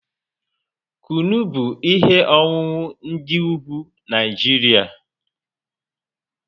Kunu bụ ihe ọṅụṅụ ndị ugwu Naijiria